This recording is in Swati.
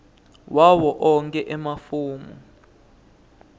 wawo onkhe emafomu